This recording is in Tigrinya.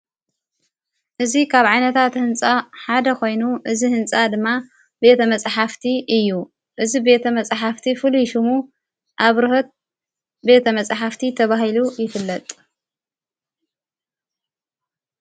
እዙይ ኻብ ዓይነታት ሕንፃ ሓደ ኾይኑ እዝ ሕንፃ ድማ ቤተ መጽሓፍቲ እዩ እዝ ቤተ መጽሕፍቲ ፍሉይ ሹሙ ኣብርህት ቤተ መጽሕፍቲ ተብሂሉ ይፍለጥ።